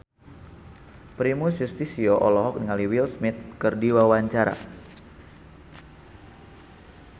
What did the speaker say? Primus Yustisio olohok ningali Will Smith keur diwawancara